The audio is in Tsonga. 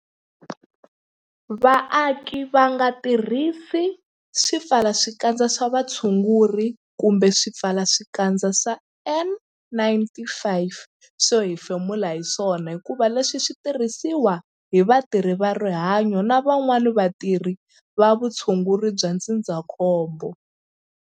Vaaki va nga tirhisi swipfalaxikandza swa vutshunguri kumbe swipfalaxikandza swa N-95 swo hefemula hi swona hikuva leswi swi tirhisiwa hi vatirhi va rihanyo na van'wana vatirhi va vutshunguri bya ndzindzakhombo.